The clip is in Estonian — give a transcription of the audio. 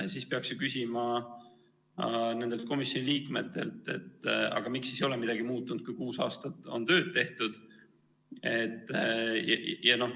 Siis peaks ju küsima nendelt komisjoni liikmetelt, et aga miks siis ei ole midagi muutunud, kui kuus aastat on tööd tehtud.